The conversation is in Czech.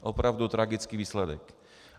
Opravdu tragický výsledek.